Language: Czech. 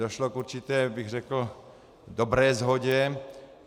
Došlo k určité, řekl bych, dobré shodě.